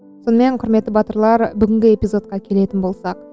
сонымен құрметті батырлар бүгінгі эпизодқа келетін болсақ